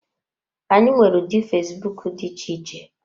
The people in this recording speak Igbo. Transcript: Anyị nwere ụdị fesbụụk dị iche iche.